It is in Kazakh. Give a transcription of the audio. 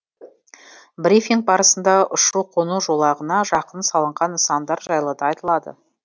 брифинг барысында ұшу қону жолағына жақын салынған нысандар жайлы да айтылды